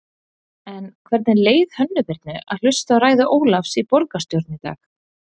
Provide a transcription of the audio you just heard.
En hvernig leið Hönnu Birnu að hlusta á ræðu Ólafs í borgarstjórn í dag?